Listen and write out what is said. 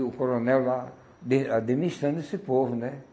E o coronel lá, dê administrando esse povo, né?